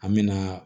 An mɛna